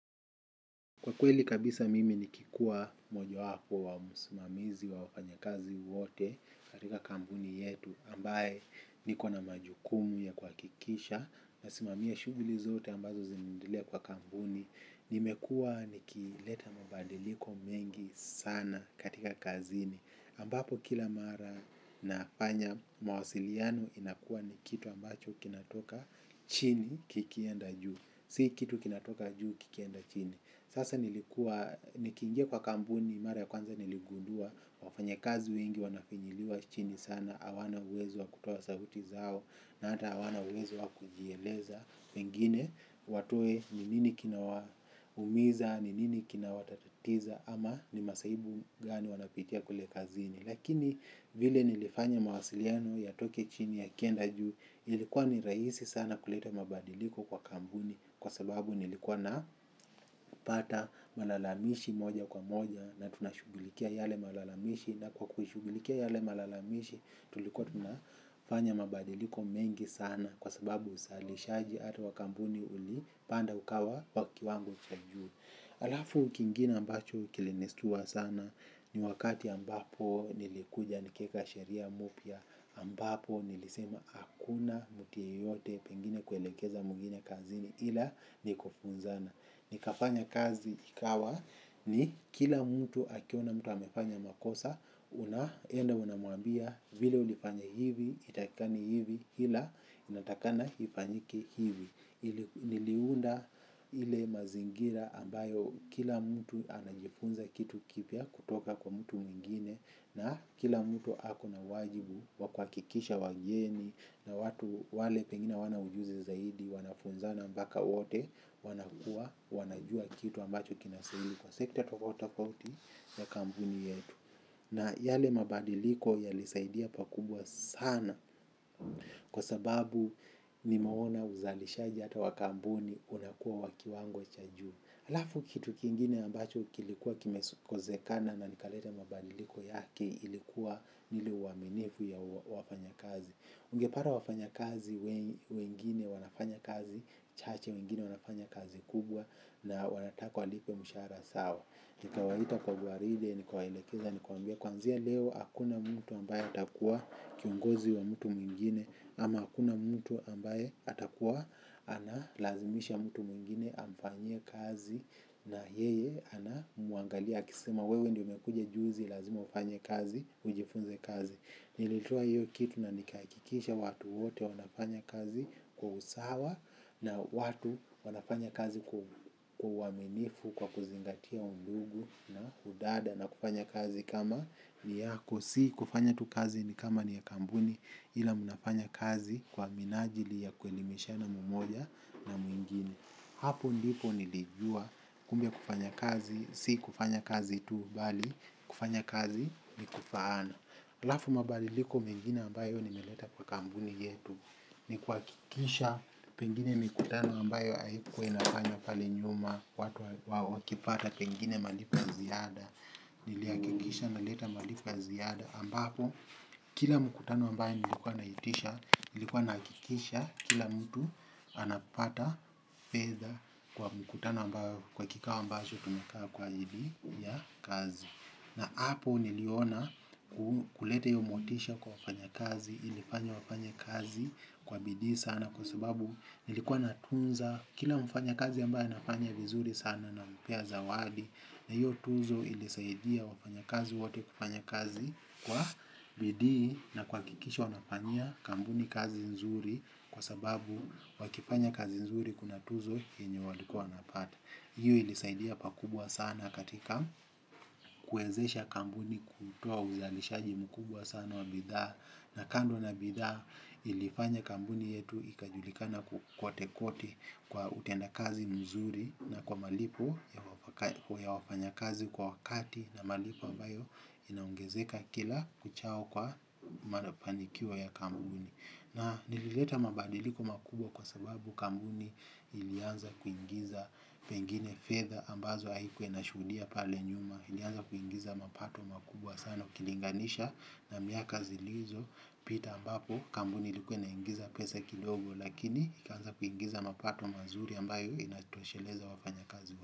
Kwa kweli kabisa mimi nikikuwa mojo wapo wa msimamizi wa wafanyakazi wote katika kampuni yetu ambaye niko na majukumu ya kuhakikisha nasimamia shughuli zote ambazo zinaendelea kwa kampuni. Nimekuwa nikileta mabadiliko mengi sana katika kazini ambapo kila mara nafanya mawasiliano inakuwa ni kitu ambacho kinatoka chini kikienda juu. Si kitu kinatoka juu kikienda chini. Sasa nilikuwa, nikiingia kwa kampuni, mara ya kwanza niligundua, wafanyakazi wengi wanafinyiliwa chini sana, hawana uwezo wa kutoa sauti zao, na hata hawana uwezo wa kujieleza. Pengine, watoe ni nini kinawaumiza, ni nini kinawatatatiza, ama ni masaibu gani wanapitia kule kazini. Lakini vile nilifanya mawasiliano yatoke chini yakienda juu, ilikuwa ni rahisi sana kuleta mabadiliko kwa kampuni kwa sababu nilikuwa napata malalamishi moja kwa moja na tunashughulikia yale malalamishi na kwa kushughulikia yale malalamishi. Tulikuwa tunafanya mabadiliko mengi sana kwa sababu usalishaji hata wa kampuni ulipanda ukawa wa kiwango cha juu. Alafu kingine ambacho kilinistua sana. Ni wakati ambapo nilikuja nikaeka sheria mupya ambapo nilisema hakuna mtu yeyote pengine kuelekeza mwingine kazini ila ni kufunzana. Nikafanya kazi ikawa ni kila mtu akiona mtu amefanya makosa, unaenda unamwambia, vile ulifanya hivi haitakikani hivi iila inatakana ifanyike hivi. Niliunda ile mazingira ambayo kila mtu anajifunza kitu kipya kutoka kwa mtu mwingine na kila mtu hako na wajibu wa kuhakikisha wageni na watu wale pengine hawana ujuzi zaidi wanafunza mpaka wote wanakua, wanajua kitu ambacho kinastahili kwa sekta tofauti tofauti ya kampuni yetu. Na yale mabadiliko yalisaidia pakubwa sana kwa sababu nimeona uzalisha hata wa kampuni unakuwa wa kiwango cha juu. Halafu kitu kingine ambacho kilikuwa kimekozekana na nikaleta mabadiliko yake ilikuwa ni ile uaminifu ya wafanyakazi. Ungepata wafanyakazi wengine wanafanya kazi chache, wengine wanafanya kazi kubwa na wanataka walipwe mshahara sawa. Nikawaita kwa guaride, nikawaelekeza, nikawaambia kuanzia leo hakuna mtu ambaye atakuwa kiongozi wa mtu mwingine ama hakuna mtu ambaye atakuwa analazimisha mtu mwingine amfanyie kazi na yeye anamwangalia akisema wewe ndio umekuja juzi lazima ufanye kazi, ujifunze kazi. Nilitoa hiyo kitu na nikahakikisha watu wote wanafanya kazi kwa usawa na watu wanafanya kazi kwa uaminifu kwa kuzingatia undugu na udada na kufanya kazi kama ni yako si kufanya tu kazi ni kama ni ya kampuni ila mnafanya kazi kwa minajili ya kuelimishana mumoja na mwingine. Hapo ndipo nilijua kumbe kufanya kazi, si kufanya kazi tu, bali kufanya kazi ni kufaana halafu mabadiliko mengine ambayo nimeleta kwa kampuni yetu ni kuhakikisha pengine mikutano ambayo haikuwa inafanywa pale nyuma watu wakipata pengine malipo ya ziada nilihakikisha naleta malipo ya ziada ambapo kila mkutano ambayo nilikuwa naitisha nilikuwa nahakikisha kila mtu anapata fedha kwa mkutano ambayo, kwa kikao ambacho tumekaa kwa ajili ya kazi. Na hapo niliona kuleta hiyo motisha kwa wafanyakazi ilifanya wafanye kazi kwa bidii sana kwa sababu nilikuwa natunza, kila mfanyakazi ambaye anafanya vizuri sana nampea zawadi na hiyo tuzo ilisaidia wafanyakazi wote kufanya kazi kwa bidii na kuhakikisha wanafanyia kampuni kazi nzuri kwa sababu wakifanya kazi nzuri kuna tuzo yenye walikuwa wanapata. Hiyo ilisaidia pakubwa sana katika kuwezesha kampuni kutoa uzalishaji mkubwa sana wa bidhaa, na kando na bidhaa ilifanya kampuni yetu ikajulikana kwote kwote kwa utendakazi mzuri na kwa malipo ya wafanyakazi kwa wakati na malipo ambayo inaongezeka kila kuchao kwa mafanikio ya kampuni. Na nilileta mabadiliko makubwa kwa sababu kampuni ilianza kuingiza pengine fedha ambazo haikuwa inashuhudia pale nyuma. Ilianza kuingiza mapato makubwa sana ukilinganisha na miaka zilizopita ambapo kampuni ilikuwe inaingiza pesa kidogo lakini ikaanza kuingiza mapato mazuri ambayo inatosheleza wafanyakazi.